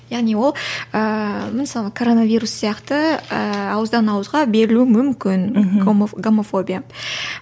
яғни ол ыыы мысалы короновирус сияқты ыыы ауыздан ауызға берілуі мүмкін мхм гомофобия